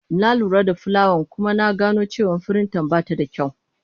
Na lura da fulayan kuma na gano cewa firinta ba ta da kyau.